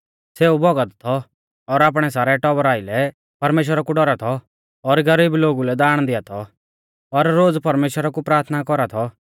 सेऊ भौगत थौ और आपणै सारै टौबरा आइलै परमेश्‍वरा कु डौरा थौ और गरीब लोगु लै दाण दिआ थौ और रोज़ परमेश्‍वरा कु प्राथना कौरा थौ